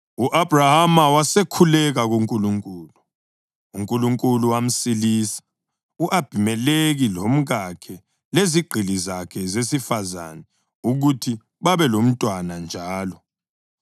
U-Abhrahama wasekhuleka kuNkulunkulu, uNkulunkulu wamsilisa u-Abhimelekhi, lomkakhe lezigqili zakhe zesifazane ukuthi babelabantwana njalo,